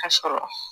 Ka sɔrɔ